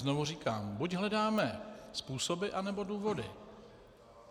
Znovu říkám, buď hledáme způsoby anebo důvody.